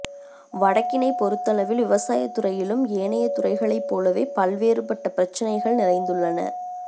வடக்கினைப் பொருத்தளவில் விவசாயத்துறையிலும் ஏனைய துறைகளைப் போலவே பல்வேறுபட்ட பிரச்சினைகள் நிறைந்துள்ளன